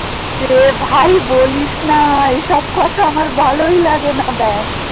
এ ভাই বলিস না এসব কথা আমার ভালোই লাগেনা ব্যাঙ